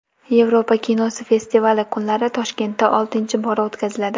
Yevropa kinosi festivali kunlari Toshkentda oltinchi bora o‘tkaziladi.